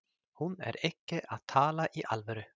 Hún er ekki að tala í alvöru.